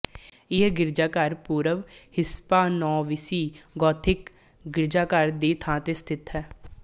ਇਹ ਗਿਰਜਾਘਰ ਪੂਰਵ ਹਿਸਪਾਨੋਵਿਸਿਗੋਥਿਕ ਗਿਰਜਾਘਰ ਦੀ ਥਾਂ ਤੇ ਸਥਿਤ ਹੈ